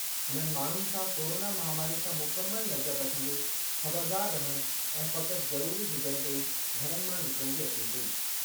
हुननि माण्हुनि सां कोरोना महामारी सां मुकमल नज़र रखंदे ख़बरदार रहणु ऐं फ़क़ति ज़रूरी हुजणु ते ई घरनि मां निकरणु जी अपील कई।